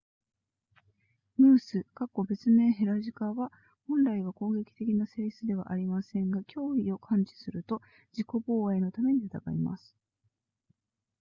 ムース別名ヘラジカは本来は攻撃的な性質ではありませんが脅威を感知すると自己防衛のために戦います